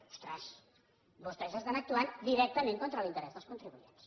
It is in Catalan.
ostres vostès estan actuant directament contra l’interès dels contribuents